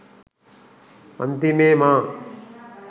අන්තිමේ මා